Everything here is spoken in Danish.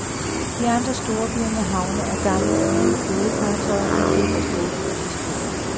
I andre storbyer med havne er gamle og nye flådefartøjer en del af storbyens historie.